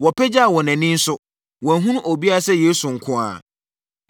Wɔpagyaa wɔn ani nso, wɔanhunu obiara sɛ Yesu nko ara.